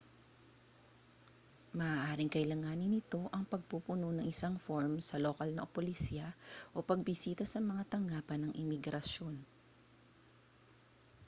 maaaring kailanganin nito ang pagpupuno ng isang form sa lokal na polisya o pagbisita sa mga tanggapan ng imigrasyon